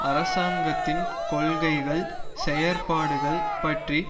அரசாங்கத்தின் கொள்கைகள் செயற்பாடுகள் பற்றி